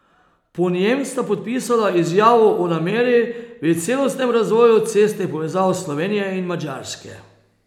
Po njem sta podpisala izjavo o nameri o celostnem razvoju cestnih povezav Slovenije in Madžarske.